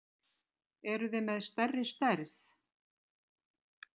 Eruð þið með stærri stærð?